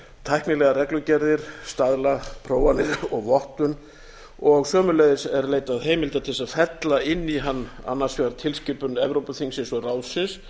tæknilegar reglugerðir staðlaprófanir og vottun og sömuleiðis er leitað heimilda til þess að fella inn í hann annars vegar tilskipun evrópuþingsins og ráðsins